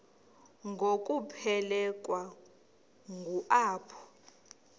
ngokuphelekwa ngu apho